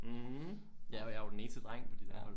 Mh ja og jeg er jo den eneste dreng på de der hold